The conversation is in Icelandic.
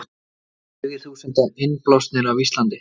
Tugir þúsunda innblásnir af Íslandi